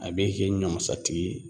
A b'e kɛ ɲɔmasatigi ye